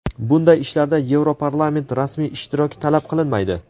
bunday ishlarda Yevroparlament rasmiy ishtiroki talab qilinmaydi.